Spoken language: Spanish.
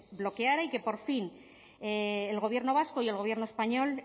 desbloqueara y que por fin el gobierno vasco y el gobierno español